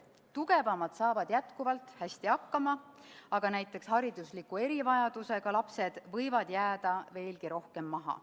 Tugevamad saavad jätkuvalt hästi hakkama, aga näiteks haridusliku erivajadusega lapsed võivad jääda veelgi enam maha.